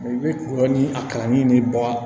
I bɛ dɔɔnin a kalan ni bɔ wa